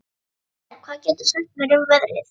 Kirsten, hvað geturðu sagt mér um veðrið?